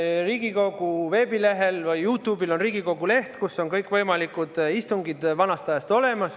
Riigikogu veebilehel ja YouTube'is on Riigikogu leht, kus on kõikvõimalikud istungid vanast ajast olemas.